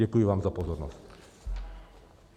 Děkuji vám za pozornost.